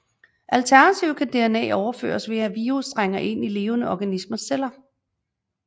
Alternativt kan DNA overføres ved at virus trænger ind i levende organismers celler